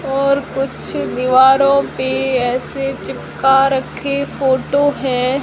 और कुछ दीवारों पे ऐसे चिपका रखे फोटो है।